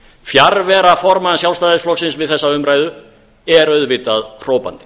fjarvera formanns sjálfstæðisflokksins við þessa umræðu er auðvitað hrópandi